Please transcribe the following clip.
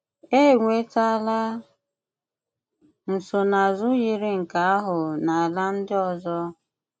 Ènwètàlà nsònáàzù yiri nke àhụ̀ na àlà̀ ndị̀ ọ̀zò.